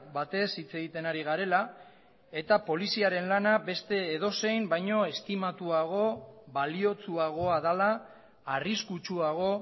batez hitz egiten ari garela eta poliziaren lana beste edozein baino estimatuago baliotsuagoa dela arriskutsuago